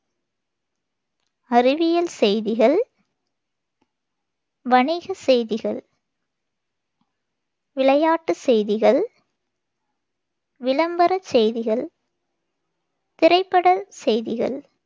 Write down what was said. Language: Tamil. அறிவியல் செய்திகள், வணிகச் செய்திகள், விளையாட்டுச் செய்திகள், விளம்பரச் செய்திகள், திரைப்பட செய்திகள்